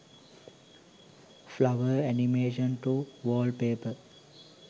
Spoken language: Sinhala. flower animation to wallpaper